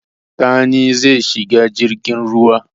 Sani zai shiga jirgin ruwa.